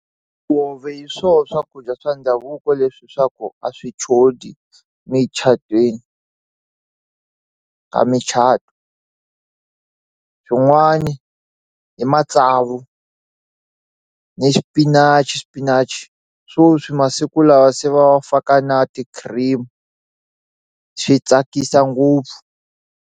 hi swo swakudya swa ndhavuko leswi swa ku a swi chodi micatwini a micato swin'wani i matsavu ni xipinachi spinach swoswi masiku lawa se va faka na ti-cream swi tsakisa ngopfu.